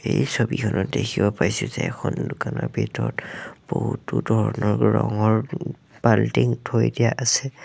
এই ছবিখনত দেখিব পাইছোঁ যে এখন দোকানৰ ভিতৰত বহুতো ধৰণৰ ৰঙৰ ও বাল্টিং থৈ দিয়া আছে।